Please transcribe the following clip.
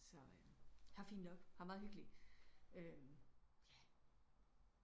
Så eh her er fint nok her er meget hyggeligt eh ja